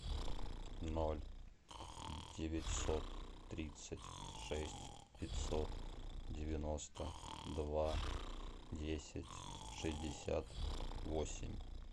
ноль девятьсот тридцать шесть пятьсот девяносто два десять шестьдесят восемь